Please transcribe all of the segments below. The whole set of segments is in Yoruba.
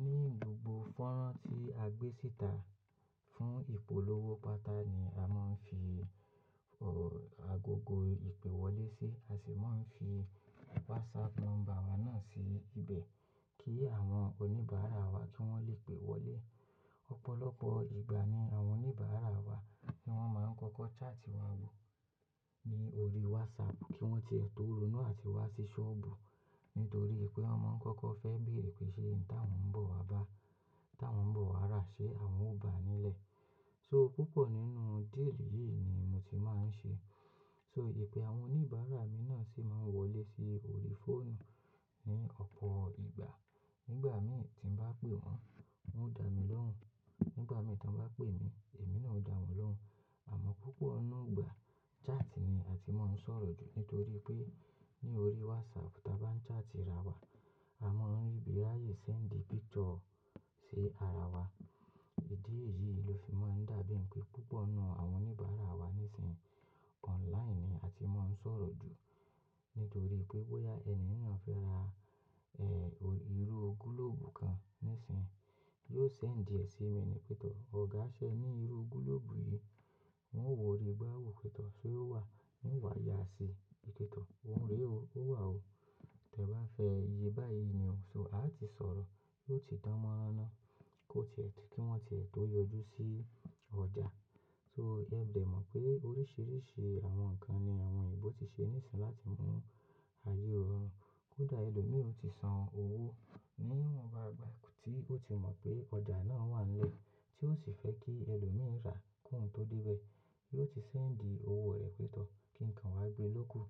Ní gbogbo fọ́nrán tí a gbé sìta fún ìpolówó pátá ni a máa ń fi agogo ìpèwọlé sí, a sì máa ń fi WhatsApp number wa náà sí ibẹ̀ kí àwọn oníbàárà wa kí wọ́n lè pè wọlé. Ọ̀pọ̀lọpọ̀ ìgbà ni àwọn oníbàárà wa ni wọ́n máa ń kọ́kọ́ chart wọ́n wò ní orí WhatsApp kí wọ́n tìẹ́tò runú àti wá sí ṣọ́ọ̀bù nítorí pé wọ́n máa ń kọ́kọ́ fẹ́ bèrè pé ṣe ń ta wọ́n ń bọ̀ wá bá, tá wọ́n ń bọ̀ wá rà, ṣé àwọn ò bàá nílẹ̀? So púpọ̀ nínú deal yìí ni mo ti máa ń ṣe. So ìpé àwọn oníbàárà mi náà sì máa ń wọlé sí orí fóònù ní ọ̀pọ̀ ìgbà. Nígbà mìíràn tí ń bá pè wọ́n, wọ́n ó dá mi lóhùn. Nígbà mìíràn tí wọ́n bá pè mí, èmi náà ó dá wọ́n lóhùn. Àmọ́ púpọ̀ ọ̀nà ọgbà chart ni a ti máa ń sọ̀rọ̀ jù nítorí pé ní orí WhatsApp táa bá ń chat ira wa, a máa ń ríbi ráàyè send picture sí ara wa. Ìdí èyí ló fi máa ń dàbí pé púpọ̀ nu àwọn oníbàárà wa nísinsìnyí online ni a ti máa ń sọ̀rọ̀ jù. Nítorí pé bóyá ẹni yi na fẹ́ ra, ẹ, irú gílóòbù kan nísinyi, yóò send ìdí ẹ sí mi ni pẹ́ tọ̀, "Ọ̀gá, ṣé ẹ ní irú gílóòbù yìí?" Wọn ó wò ó rí, gbá wò pẹ́ tọ̀, "Ṣé ó wà?" "won wá, yá a sí i." Pẹ́ tọ̀, "Ó ń rẹ ó, ó wà ó. Tẹ bá fẹ́ iye báyìí nì o." So a ti sọ̀rọ̀, ti yio ti dán mọ́ráná kó ti ẹ̀, kí wọ́n ti ẹ̀ tó yọjú sí ọjà. So ẹ de mọ̀ pé oríṣiríṣi àwọn ǹkan ni àwọn ìbò ti ṣe nísinsìnyí láti mú ayé rọrùn. Kódà ẹlòmíì ò ti san owó, ní wọ́n bá gbà kí ó ti mọ̀ pé ọjà náà wà nílẹ̀ tí ó sì fẹ́ kí ẹlòmíì rà kúùn tó dé bẹ́ẹ̀, yóò ti send owó rẹ̀ pẹ́ tọ̀ kí ǹkan wá gbin lóko.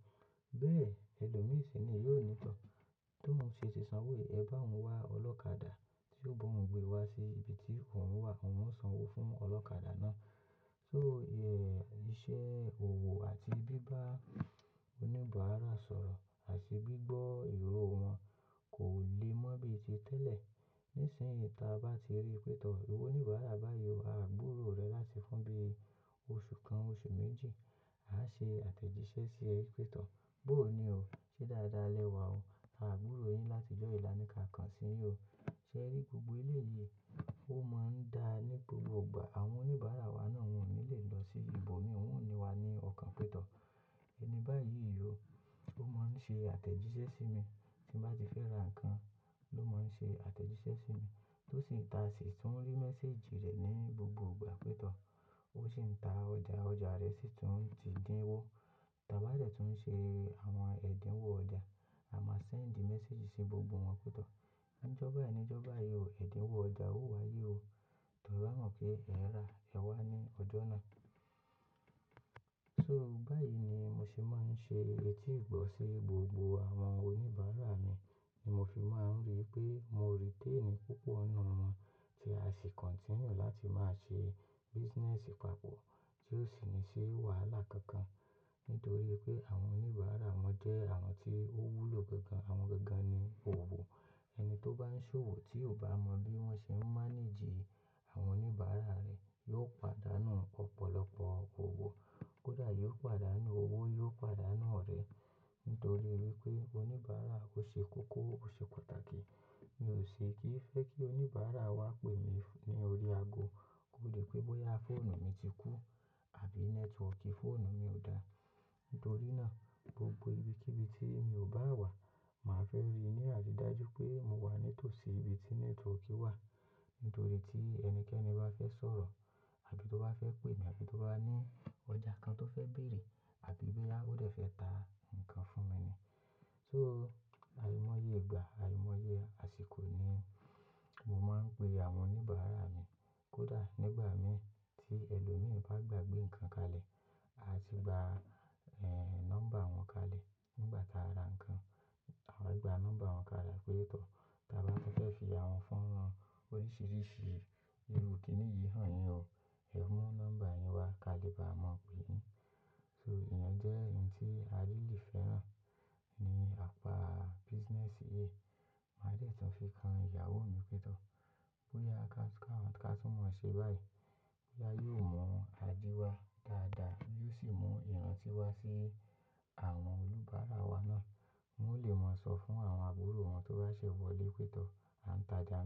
Bẹ́ẹ̀ ẹlòmíì sì ni yóò ní tọ̀ tóun ṣe ti san owó, "Ẹ bá à ń wá ọlọ́kadà tí yóò bá òun gbé wá sí ibi tí òun wà." Òun ó san owó fún ọlọ́kadà náà. So iṣẹ́ òwò àti bíbá oníbàárà sọ̀rọ̀ àti gbígbọ́ ìró wọn kò le mọ́ bíi ti tẹ́lẹ̀. Nísìnyí táa bá ti rí pẹ́ tọ̀, "iwó oníbàárà báyìí, a á gbúrò rẹ láti fún bi oṣù kan, oṣù méjì. A á ṣe àtẹ̀jíṣẹ́ sí ẹ pẹ́ tọ̀. Bóò ni o? Ṣé dáadáa lẹ́wa o. A á gbúrò yín láti ìjọ́ yìí lá ni kàkàn síyín o. Ṣé ẹ rí gbogbo ilẹ̀ yìí? Ó máa ń da ní gbogbo ìgbà." Àwọn oníbàárà wa náà wọ́n ò ní lè lọ sí ibibo mi won ò ní wá ní ọ̀kan pẹ́ tọ̀. Ẹni báyìí yóò, ó máa ń ṣe àtẹ̀jíṣẹ́ sí mi. Tí ń bá ti fẹ́ ra ǹkan ló máa ń ṣe àtẹ̀jíṣẹ́ sí mi. Tó sì ń ta, sì tún rí message rẹ̀ ní gbogbo ìgbà pẹ́ tọ̀. Ó sì ń ta ọjà, ọjà rẹ sì tún ti dín wó. Tábá tẹ̀ tún ń ṣe àwọn ẹ̀dínwó ọjà, a máa send message sí gbogbo wọn pẹ́ tọ̀. "Ǹjo bayi ni, Ǹjo ba yi ni o, ẹ̀dínwó ọjà ó wá yé o. Tà bá mọ̀ pé ẹ̀ rà, ẹ wá ní ọjọ́ náà." So báyìí ni mo sì máa ń ṣe etígbọ̀ sí gbogbo àwọn oníbàárà mi ni mo fi máa ń rí pé mo retain púpọ̀ ọ̀nà wọn tí a sì continue láti máa ṣe business papọ̀ tí ó sì ní ṣi wàhálà kankan. Nítorí pé àwọn oníbàárà wọn jẹ́ àwọn tí ó wúlò gangan, àwọn gangan ni òwò. Ẹni tó bá ń ṣe òwò tí ò bá mọ bí wọ́n ṣe ń manage àwọn oníbàárà rẹ̀ yóò pàdánù ọ̀pọ̀lọpọ̀ ọwò. Kódà yóò pàdánù owó, yóò pàdánù ọ̀rẹ́. Nítorí pé oníbàárà kò ṣe kókó, ò ṣe pàtàkì. Mi ò ṣe kí fẹ́ kí oníbàárà wa pè mí ní orí ago. Kódà pé bóyá fóònù mi ti kú àbí network fóònù mi ò dáa. Nítorí náà gbogbo ibikíbi tí mi ò bá wà, màá fẹ́ rí ní àtìdájú pé mo wà ní tòsí ibi tí network wà. Nítorí tí ẹnikẹ́ni bá fẹ́ sọ̀rọ̀ àbí tó bá fẹ́ pè mí, àbí tó bá ní ọjà kan tó fẹ́ bèrè àbí bóyá ó dẹ̀ fẹ́ ta ǹkan fún mi ni. So àìmọye ìgbà, àìmọye àsìkò ni mo máa ń pe àwọn oníbàárà mi. Kódà nígbà mìíràn tí ẹlòmíì bá gbàgbé ǹkan kalẹ̀, a ti gba, ẹ, number wọn kalẹ̀ nígbà táa ra ǹkan. Àwa gba number wọn kalẹ̀ pẹ́ tọ̀. Tábá tun fẹ́ fi àwọn fọ́nrán oríṣiríṣi irú kìíní yìí hàn yín o, ẹ mú number yín wá kalẹ̀ bá a mọ̀ pé yín. So ìyẹn jẹ́ ohun tí Arilì fẹ́ ràn ní apa business yìí. Màá tẹ̀tún fi kan ìyàwó mi pẹ́ tọ̀. Bóyá account kan tí wọn ṣe báyìí, bóyá yóò mọ àdíwa dáadáa, yóò sì mú ìrántí wá sí àwọn olùbàárà wa náà. Wọn ó lè máa sọ fún àwọn àbúrò wọn tó bá ṣẹ̀ wọlé pẹ́ tọ̀, "À ń ta ẹja ni."